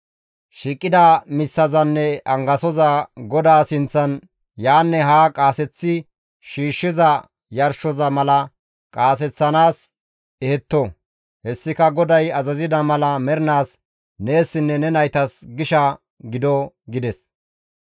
Shiiqida missezanne angasoza GODAA sinththan yaanne haa qaaseththi shiishshiza yarshoza mala qaaseththanaas ehetto; hessika GODAY azazida mala mernaas neessinne ne naytas gisha gido» gides.